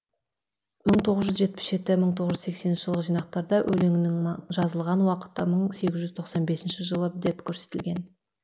мың тоғыз жүз жетпіс жеті мың тоғыз жүз сексенінші жылғы жинақтарда өлеңнің жазылған уақыты мың сегіз жүз сексен бесінші жылы деп керсетілген